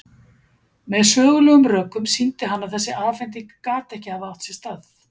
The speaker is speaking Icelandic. Með sögulegum rökum sýndi hann að þessi afhending gat ekki hafa átt sér stað.